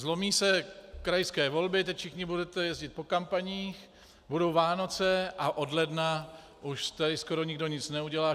Zlomí se krajské volby, teď všichni budete jezdit po kampaních, budou Vánoce a od ledna už tady skoro nikdo nic neudělá.